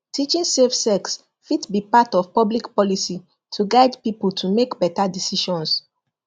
teaching safe sex fit be part of public policy to guide people to make better decisions